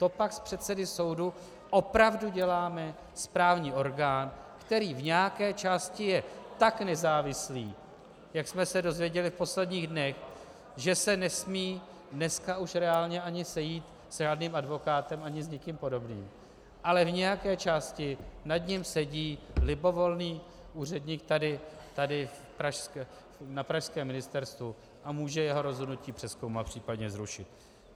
To pak z předsedy soudu opravdu děláme správní orgán, který v nějaké části je tak nezávislý, jak jsme se dozvěděli v posledních dnech, že se nesmí dneska už reálně ani sejít s žádným advokátem, ani s někým podobným, ale v nějaké části nad ním sedí libovolný úředník tady na pražském ministerstvu a může jeho rozhodnutí přezkoumat, případně zrušit.